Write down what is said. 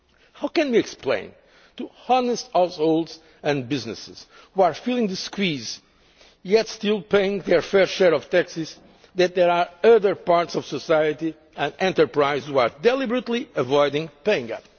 How can we explain to honest households and businesses feeling the squeeze yet still paying their fair share of taxes that there are other parts of society and enterprise which are deliberately avoiding paying